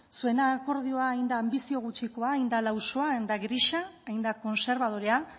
zuen akordioa hain da anbizio gutxikoa hain da lausoa hain da grisa hain da kontserbadorea